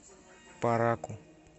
параку